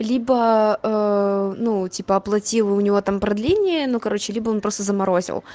либо аа ну типа оплатил у него там продление но короче либо он просто заморозил